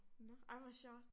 Ej hvor sjovt